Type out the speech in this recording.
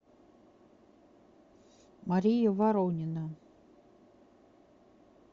мария воронина